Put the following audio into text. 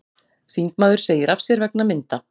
Þingmaður segir af sér vegna mynda